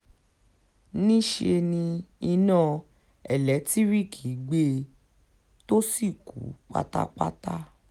níṣe ni iná ẹ̀lẹ́tíríìkì gbé e tó sì kú pátápátá